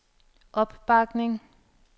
opbakning